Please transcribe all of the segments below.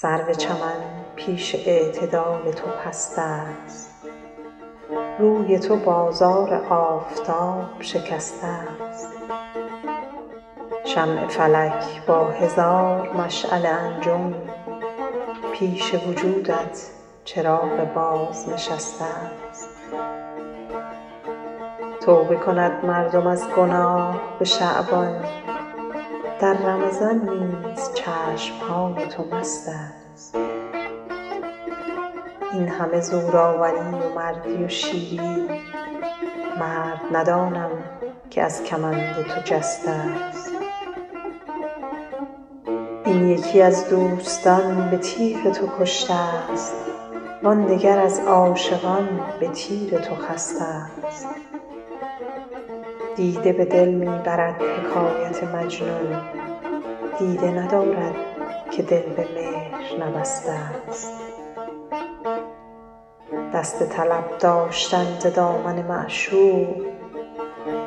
سرو چمن پیش اعتدال تو پست است روی تو بازار آفتاب شکسته ست شمع فلک با هزار مشعل انجم پیش وجودت چراغ بازنشسته ست توبه کند مردم از گناه به شعبان در رمضان نیز چشم های تو مست است این همه زورآوری و مردی و شیری مرد ندانم که از کمند تو جسته ست این یکی از دوستان به تیغ تو کشته ست وان دگر از عاشقان به تیر تو خسته ست دیده به دل می برد حکایت مجنون دیده ندارد که دل به مهر نبسته ست دست طلب داشتن ز دامن معشوق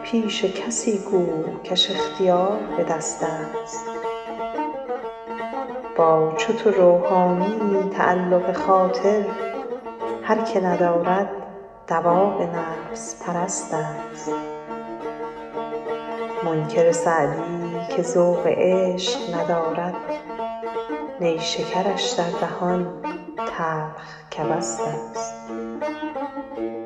پیش کسی گو کش اختیار به دست است با چو تو روحانیی تعلق خاطر هر که ندارد دواب نفس پرست است منکر سعدی که ذوق عشق ندارد نیشکرش در دهان تلخ کبست است